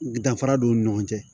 Danfara b'u ni ɲɔgɔn cɛ